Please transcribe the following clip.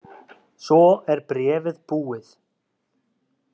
Svo er bréfið búið